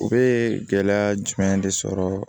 U bɛ gɛlɛya jumɛn de sɔrɔ